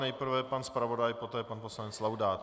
Nejprve pan zpravodaj, poté pan poslanec Laudát.